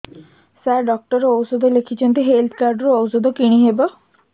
ସାର doctor ଔଷଧ ଲେଖିଛନ୍ତି health card ରୁ ଔଷଧ କିଣି ହେବ